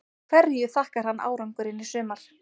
Hverju þakkar hann árangurinn í sumar?